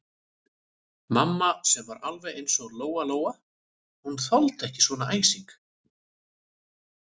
Mamma sem var alveg eins og Lóa-Lóa, hún þoldi ekki svona æsing.